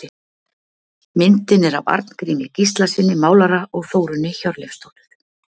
Myndin er af Arngrími Gíslasyni málara og Þórunni Hjörleifsdóttur.